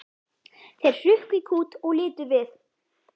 Þeir hrukku í kút og litu við.